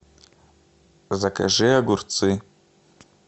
закажи огурцы